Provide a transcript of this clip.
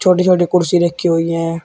छोटी छोटी कुर्सी रखी हुई हैं।